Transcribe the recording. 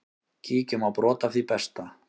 Kíkjum á brot af því besta.